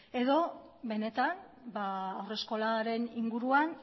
edo benetan haur eskolaren inguruan